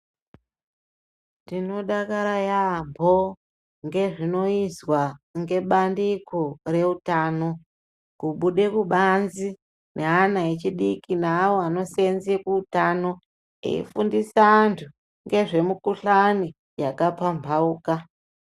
Tinodakara yaampo ngezvinoizwa ngebandiko reutano kubude kubanze neana echidiki naawo anosenze kuutano eifundise antu ngezve mikhuhlani yakapampauka.